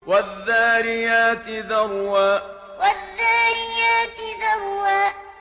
وَالذَّارِيَاتِ ذَرْوًا وَالذَّارِيَاتِ ذَرْوًا